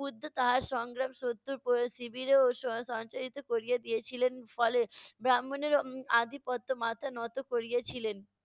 বুদ্ধ তাহার সংগ্রাম শত্রুর পুরো শিবিরেও স~ সঞ্চারিত করিয়ে দিয়েছিলেন। ফলে বাম্মণেরও উম আদি মাথা নত করিয়েছিলেন